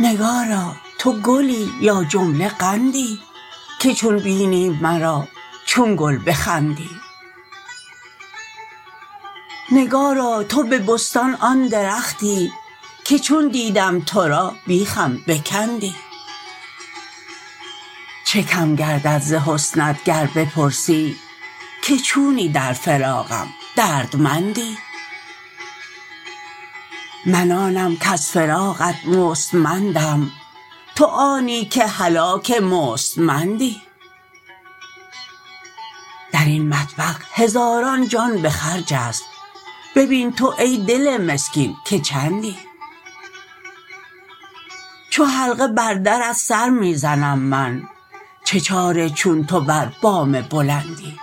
نگارا تو گلی یا جمله قندی که چون بینی مرا چون گل بخندی نگارا تو به بستان آن درختی که چون دیدم تو را بیخم بکندی چه کم گردد ز حسنت گر بپرسی که چونی در فراقم دردمندی من آنم کز فراقت مستمندم تو آنی که هلاک مستمندی در این مطبخ هزاران جان به خرج است ببین تو ای دل مسکین که چندی چو حلقه بر درت سر می زنم من چه چاره چون تو بر بام بلندی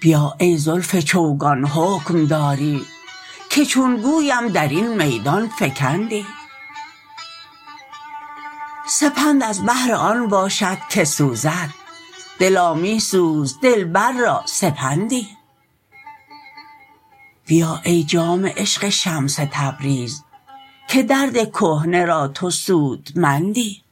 بیا ای زلف چوگان حکم داری که چون گویم در این میدان فکندی سپند از بهر آن باشد که سوزد دلا می سوز دلبر را سپندی بیا ای جام عشق شمس تبریز که درد کهنه را تو سودمندی